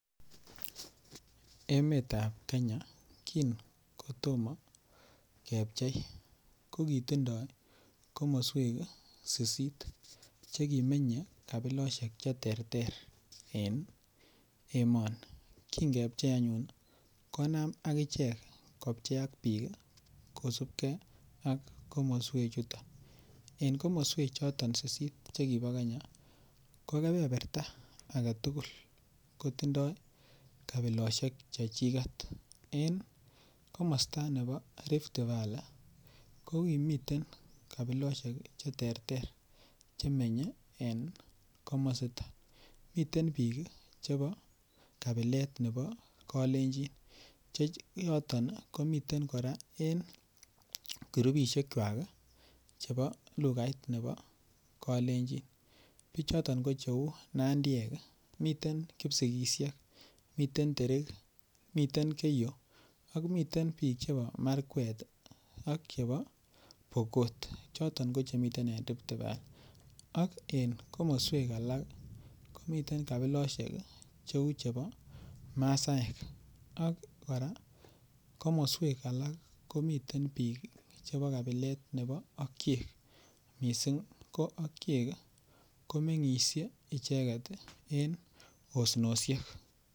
Emetab kenya kin kotomo kepchei ko kotindo komoswek sisit che kimenye kabiloshek che terter en emoni kin kepchei anyun konam anyun kopcheak biik kosupgee ak komoswek chuton. En komoswek chuton Sisit chekibo kenya ko kebeberta agetugul kotindo kabiloshek chechiget en komosta nebo riftvalley komiten kabiloshek che terter chemenye en komositon, miten biik chebo kabilet nebo kolenjin Che yoton ii komiten koraa en kirupishekwak chebo lugait nebo kolenjin, bichoton ko che uu nandiek ii. Miten kipsigisiek, niten derik, miten keyo ak miten biik chebo markwet ak chebo pokot ko choton ko chemiten en riftvalley ak en komoswek alak komiten kabiloshek che uu chebo masaek ak en komoswek alak komiten biik chebo kabilet nebo okiyek. Missing okiyek ko mengiishe icheget en osnoshek